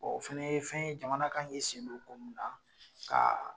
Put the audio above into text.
Bɔn o fɛnɛ ye fɛn ye jamana kan k'i sen do ko min na ka